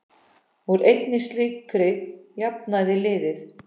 Úr einni slíkri jafnaði liðið.